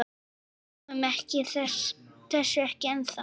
Við trúum þessu ekki ennþá.